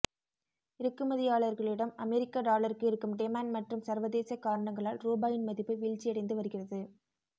இறக்குமதியாளர்களிடம் அமெரிக்க டாலருக்கு இருக்கும் டிமாண்ட் மற்றும் சர்வதேச காரணங்களால் ரூபாயின் மதிப்பு வீழ்ச்சியடைந்து வருகிறது